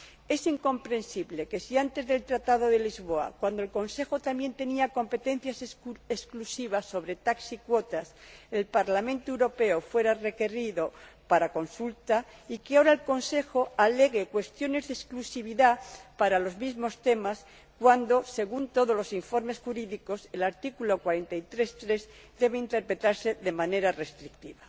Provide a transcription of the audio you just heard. Es incomprensible que, antes del Tratado de Lisboa, cuando el Consejo también tenía competencias exclusivas sobre TAC y cuotas, el Parlamento fuera requerido para consulta y que ahora el Consejo alegue cuestiones de exclusividad para los mismos temas cuando, según todos los informes jurídicos, el artículo 43, apartado 3, debe interpretarse de manera restrictiva.